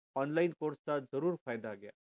online course चा जरूर फायदा घ्या